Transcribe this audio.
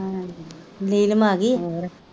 ਨੀਲਮ ਆਗੀ ਏ,